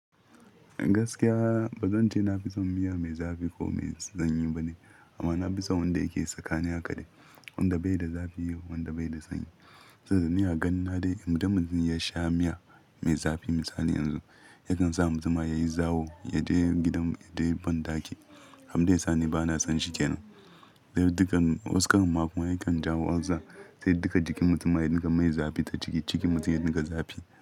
Gaskiya ba zan ce na fi son miya mai zafi ko mai sanyi ba ne, amma na fi son wanda yake tsakani haka dai, wanda bai da zafi, wanda bai da sanyi. Ni a gani na dai idan mutum ya sha miya, mai zafi misali yanzu, yakan sa mutumin yayi zawo, ya je gidan, ya je banɗaki. Abun da ya sani ba na son shi ke nan. Sai dukan wa su kan ma kuma yakan jawo ulcer. Sai duka jikin mutum ma ya rika mai zafi ta ciki, cikin mutum ya dinga zafi.